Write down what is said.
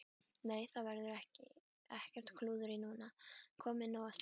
Nei, það verður ekkert klúður núna, komið nóg af slíku.